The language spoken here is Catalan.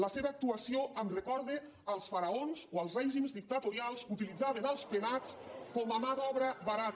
la seva actuació em recorda els faraons o els règims dictatorials que utilitzaven els penats com a mà d’obra barata